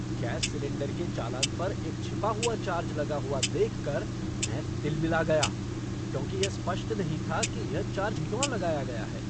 Gas cylinder के चालान पर एक छिपा हुआ चार्ज लगा हुआ देखकर मैं तिलमिला गया क्योंकि यह स्पष्ट नहीं था कि यह चार्ज क्यों लगाया गया है।